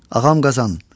Ağam Qazan.